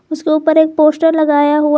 उसके ऊपर एक पोस्टर लगाया हुआ है।